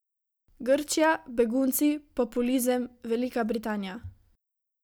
Grčija, begunci, populizem, Velika Britanija.